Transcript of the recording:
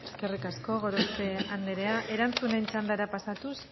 eskerrik asko gorospe andrea erantzunen txandara pasatuz